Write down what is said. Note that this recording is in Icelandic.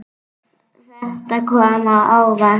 Þetta kom á óvart.